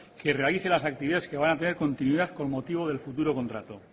que realice las actividades que van a tener continuidad con motivo del futuro contrato